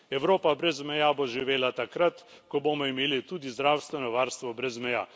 Evropa brez meja bo živela takrat, ko bomo imeli tudi zdravstveno varstvo brez meja.